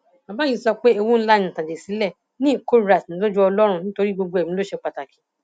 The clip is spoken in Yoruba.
bàbá yìí sọ pé ewu ńlá ni ìtàjẹsílẹ ni ìkórìíra sì ní lójú ọlọrun nítorí gbogbo ẹmí ló ṣe pàtàkì